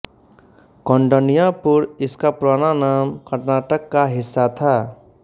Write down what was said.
कौंडन्यापुर इसका पुराना नाम कर्नाटक का हिस्सा था